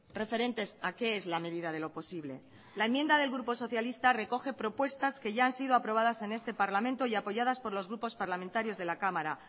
referentes a qué es la medida de lo posible la enmienda del grupo socialista recoge propuestas que ya han sido aprobadas en este parlamento y apoyadas por los grupos parlamentarios de la cámara